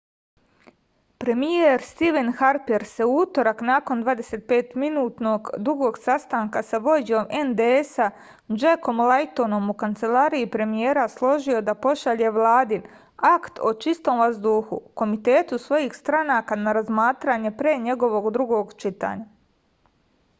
premijer stiven harper se u utorak nakon 25 minuta dugog sastanka sa vođom nds-a džekom lajtonom u kancelariji premijera složio da pošalje vladin akt o čistom vazduhu komitetu svih stranaka na razmatranje pre njegovog drugog čitanja